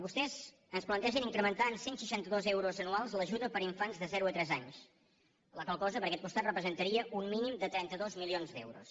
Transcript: vostès ens plantegen incrementar en cent i seixanta dos euros anuals l’ajuda per infants de zero a tres anys la qual cosa per aquest costat representaria un mínim de trenta dos milions d’euros